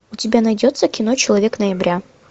у тебя найдется кино человек ноября